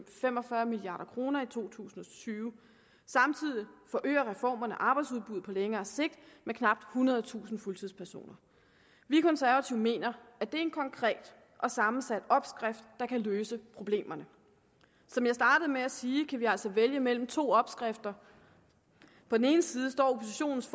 fem og fyrre milliard kroner i to tusind og tyve samtidig forøger reformerne arbejdsudbuddet på længere sigt med knap ethundredetusind fuldtidspersoner vi konservative mener at det er en konkret og sammensat opskrift der kan løse problemerne som jeg startede med at sige kan vi altså vælge mellem to opskrifter på den ene side står oppositionens